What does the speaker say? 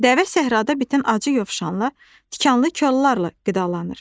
Dəvə səhrada bitən acı yovşanla, tikanlı kollarla qidalanır.